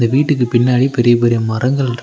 வீட்டுக்கு பின்னாடி பெரிய பெரிய மரங்கள்ருக்கு.